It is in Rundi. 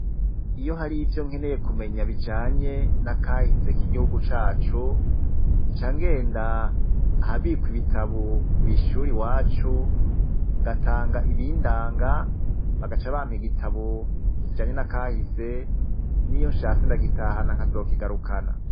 Iyo hari ivyo nkeneye kumenya bijanye n'akahise k'igihugu cacu ncangenda ahabikwa ibitabo kw'ishure iwacu wacu ngatanga ibindanga bagaca bampa igitabo kijanye n'akahise niyo nshatse ndagitahana nkazokigarukana.